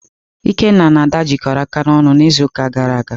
Ikenna na Ada jikọrọ aka n'ọrụ n'izu gara aga.